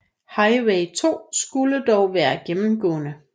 Highway 2 skulle dog være gennemgående